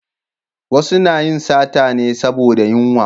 Wasu na yin sata me saboda yunwa